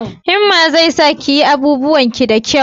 Himma zai sa ki yin abubuwan ki da kyau